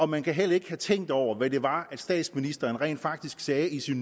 man kan heller ikke have tænkt over hvad det var statsministeren rent faktisk sagde i sin